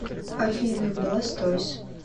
афина бластойз